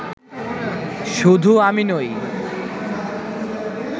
শুধু আমি নই